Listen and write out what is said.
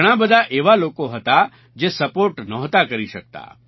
ઘણા બધા એવા લોકો હતા જે સપોર્ટ નહોતા કરી શકતા